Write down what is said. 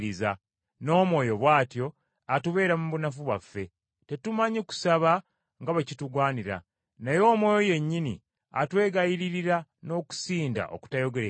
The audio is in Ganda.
N’Omwoyo bw’atyo atubeera mu bunafu bwaffe. Tetumanyi kusaba nga bwe kitugwanira, naye Omwoyo yennyini atwegayiririra n’okusinda okutayogerekeka.